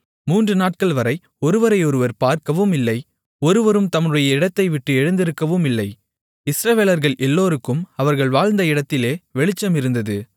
மூன்றுநாட்கள்வரை ஒருவரையொருவர் பார்க்கவும் இல்லை ஒருவரும் தம்முடைய இடத்தைவிட்டு எழுந்திருக்கவும் இல்லை இஸ்ரவேலர்கள் எல்லோருக்கும் அவர்கள் வாழ்ந்த இடத்திலே வெளிச்சம் இருந்தது